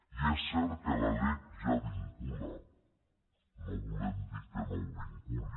i és cert que la lec ja vincula no volem dir que no ho vinculi